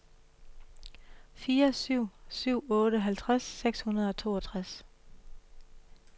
fire syv syv otte halvtreds seks hundrede og treogtres